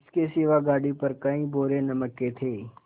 इसके सिवा गाड़ी पर कई बोरे नमक के थे